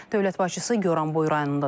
Dövlət başçısı Goranboy rayonunda da olub.